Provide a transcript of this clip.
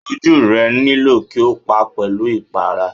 Ojú rẹ nílò kí o pa pẹ̀lú ipara.